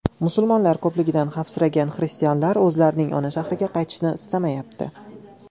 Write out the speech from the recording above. Musulmonlar ko‘pligidan xavfsiragan xristianlar o‘zlarining ona shahriga qaytishni istamayapti.